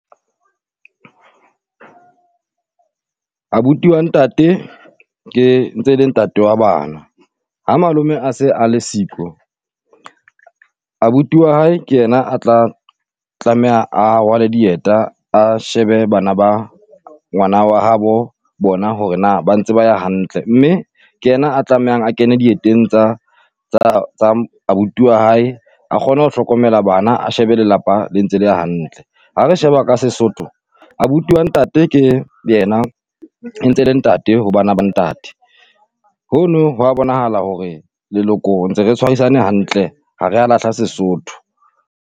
Abuti wa ntate ke ntse le ntate wa bana. Ha malome a se a le siko, abuti wa hae ke yena a tla tlameha a rwale dieta, a shebe bana ba ngwana wa habo bona hore na ba ntse ba ya hantle. Mme ke yena a tlamehang a kene dieteng tsa tsa tsa abuti wa hae, a kgono hlokomela bana, a shebe lelapa le ntse le ya hantle. Ha re sheba ka Sesotho, abuti wa ntate ke yena ntse e le ntate ho bana ba ntate. Hono ho a bonahala hore leloko ntse re tshwarisane hantle ha re a lahla Sesotho.